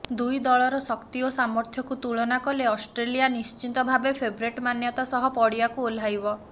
ଦୁଇ ଦଳର ଶକ୍ତି ଓ ସାମର୍ଥ୍ୟକୁ ତୁଳନା କଲେ ଅଷ୍ଟ୍ରେଲିଆ ନିଶ୍ଚିତଭାବେ ଫେଭରିଟ୍ ମାନ୍ୟତା ସହ ପଡିଆକୁ ଓହ୍ଲାଇବ